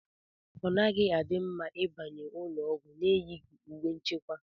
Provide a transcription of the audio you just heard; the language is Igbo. Ọ naghị adi mma ịbanye n'ụlọọgwụ n'eyighi uwe nchekwa